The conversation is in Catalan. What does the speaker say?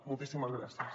moltíssimes gràcies